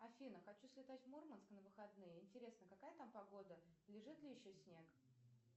афина хочу слетать в мурманск на выходные интересно какая там погода лежит ли еще снег